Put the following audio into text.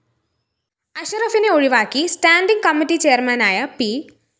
അഷറഫിനെ ഒഴിവാക്കി standing committee ചെയര്‍മാനായ P